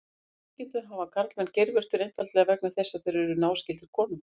Að öllum líkindum hafa karlmenn geirvörtur einfaldlega vegna þess að þeir eru náskyldir konum.